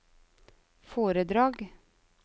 foredrag